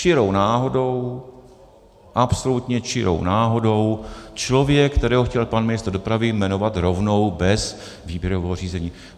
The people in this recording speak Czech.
Čirou náhodou, absolutně čirou náhodou člověk, kterého chtěl pan ministr dopravy jmenovat rovnou bez výběrového řízení.